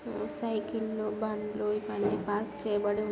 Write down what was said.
Cycle బండ్లు ఇవిఅన్నీ park చేయబడి--.